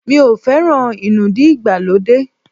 Mi ò feran inúdí ìgbàlódé.